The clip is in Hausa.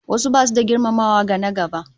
Wasu basu da girmamawa ga na-gaba